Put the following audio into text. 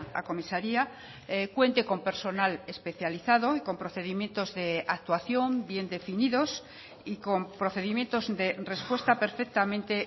a comisaria cuente con personal especializado y con procedimientos de actuación bien definidos y con procedimientos de respuesta perfectamente